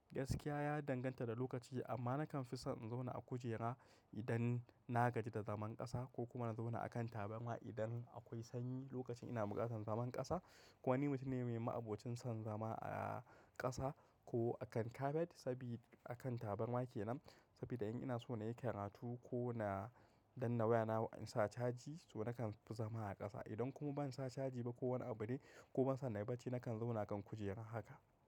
Gaskiya ya danganta da lokaci amma nakan fi son in zauna a kujera idan na gaji da zaman ƙasa ko kuma na zauna a kan tabarma idan akwai sanyi lokacin ina bukatan zaman ƙasa. Ko wani mutum ne mai ma'abocin son zama a ƙasa ko a kan kafet sabida akan tabarma kenan. Sabida in ina so na yi karatu ko na danna wayana in sa caji to nakan fi zama a ƙasa. Idan kuma ban sa caji ba ko wani abu ne ko ban so na yi barci nakan zauna kan kujera haka.